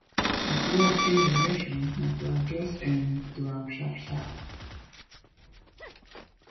if work change direction na to adjust um to am sharp sharp